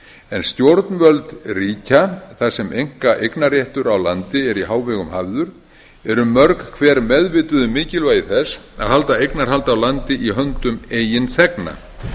en stjórnvöld ríkja þar sem einkaeignarréttur á landi er í hávegum hafður eru mörg hver meðvituð um mikilvægi þess að halda eignarhaldi á landi í höndum eigin þegna